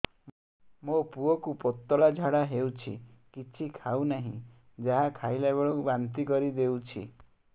ମୋ ପୁଅ କୁ ପତଳା ଝାଡ଼ା ହେଉଛି କିଛି ଖାଉ ନାହିଁ ଯାହା ଖାଇଲାବେଳକୁ ବାନ୍ତି କରି ଦେଉଛି